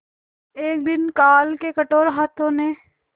एक दिन काल के कठोर हाथों ने